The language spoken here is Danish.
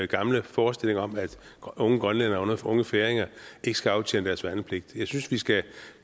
gamle forestillinger om at unge grønlændere og unge færinger ikke skal aftjene deres værnepligt jeg synes vi skal